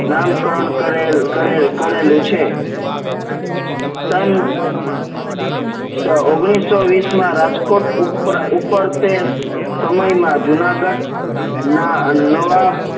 નામકરણ કરેલ કરેલ કરેલું છે સન ઓગણીસો વીસ માં રાજકોટ ઉપર તેજ સમયમાં જુનાગઢ ના નવા